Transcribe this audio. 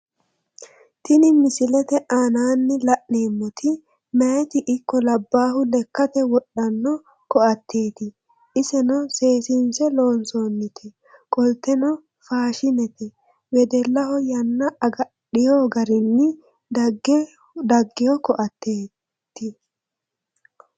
Tini misillete aanaanni lla'neemotti mayitti ikko labaahu lekate wodhanno koateetti iseno seesiinsse loonsoonnite qolittenno faashinete wedellaho yanna agadheewo garinni dagewo koateetto